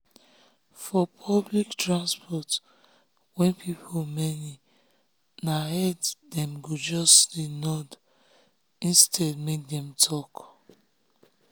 for public transport wey people many na head dem go just nod instead make dem talk.